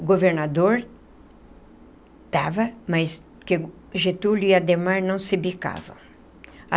O governador estava, mas Getúlio e Adhemar não se bicavam.